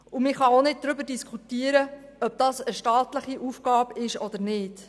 Man kann auch nicht darüber diskutieren, ob dies eine staatliche Aufgabe ist oder nicht.